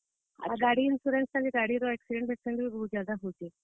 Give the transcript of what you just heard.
ଆଉ ଗାଡିର insurance ଟା ବି ଗାଡିର accident ଫେକ୍ସିଡେଣ୍ଟ ବି ବହୁତ ज्यादा ହଉଛେ।